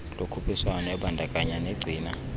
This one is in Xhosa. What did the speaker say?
lokhuphiswano ebandakanya negcina